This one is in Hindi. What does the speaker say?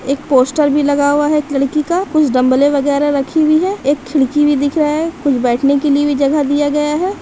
एक पोस्टर बी लगा हुआ है एक लड़की का कुछ डम्बेले वागेर रखी हुई है एक खिड़की बी दिख रहा है कुछ बैट ने के लिए भी जगह दिया गया है।